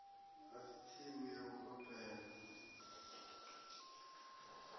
a si tsimu ya ugobela